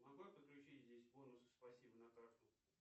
могу я подключить здесь бонусы спасибо на карту